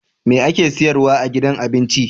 Me ake siyarwa a gidan abinci